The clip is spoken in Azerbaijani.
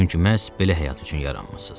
Çünki məhz belə həyat üçün yaranmısız.